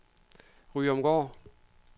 Ryomgård